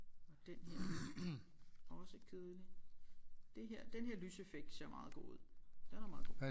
Og den her er også kedelig det her den her lyseffekt ser meget god ud den er meget god